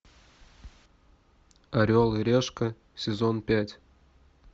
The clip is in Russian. орел и решка сезон пять